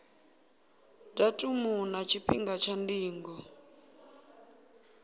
datumu na tshifhinga tsha ndingo